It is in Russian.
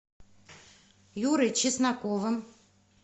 юрой чесноковым